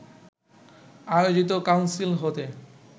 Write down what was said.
আয়োজিত কাউন্সিল হতে